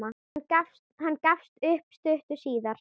Hann gafst upp stuttu síðar.